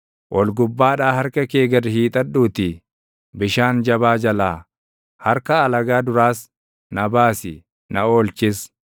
Ol gubbaadhaa harka kee gad hiixadhuutii bishaan jabaa jalaa, harka alagaa duraas, na baasi; na oolchis;